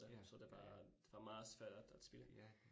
Ja, ja. Ja